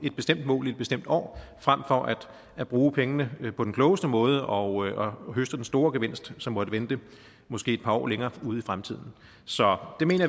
et bestemt mål i et bestemt år frem for at bruge pengene på den klogeste måde og høste den store gevinst som måtte vente måske et par år længere ude i fremtiden så